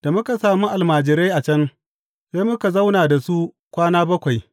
Da muka sami almajirai a can, sai muka zauna da su kwana bakwai.